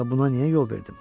Axı buna niyə yol verdim?